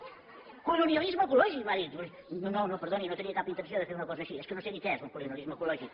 colonialisme ecològic m’ha dit doncs no no perdoni no tenia cap intenció de fer una cosa així és que no sé ni què és un colonialisme ecològic